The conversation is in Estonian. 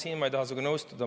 Siin ma ei taha sinuga nõustuda.